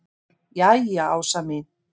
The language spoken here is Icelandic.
Jæja Ása mín.